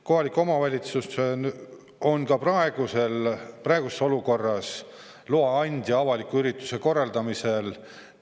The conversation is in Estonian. Kohalik omavalitsus on ka praegu avaliku ürituse korraldamiseks loa andja.